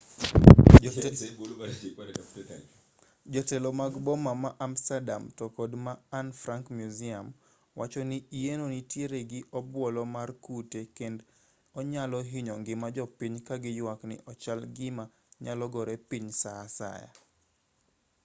jotelo mag boma ma amsterdam to kod ma anne frank museum wacho ni yienno nitiere gi obuolo mar kute kend onyalo hinyo ngima jopiny ka giywak ni ochal gima nyalo gore piny saa asaya